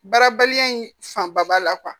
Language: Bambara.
Baarabaliya in fanba b'a la